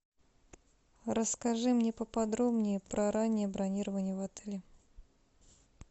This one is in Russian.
расскажи мне поподробнее про раннее бронирование в отеле